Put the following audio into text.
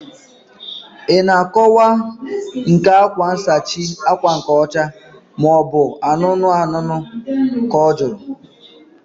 Ị na akọwa nke akwa nsachi ákwà nke ọcha maobu anụnụ anụnụ? Ka ọ jụrụ